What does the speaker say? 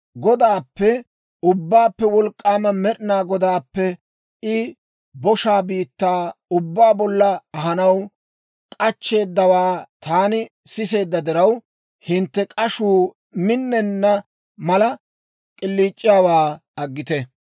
Godaappe, Ubbaappe Wolk'k'aama Med'inaa Godaappe I boshaa biittaa ubbaa bolla ahanaw k'achcheeddawaa taani siseedda diraw, hintte k'ashuu minnenna mala, k'iliic'iyaawaa aggite.